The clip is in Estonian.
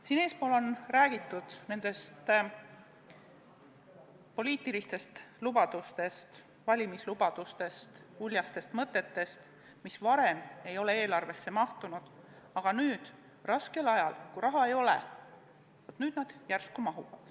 Siin eespool on räägitud poliitilistest lubadustest, valimislubadustest, uljastest mõtetest, mis varem ei ole eelarvesse mahtunud, aga nüüd, raskel ajal, kui raha ei ole, nad järsku mahuvad.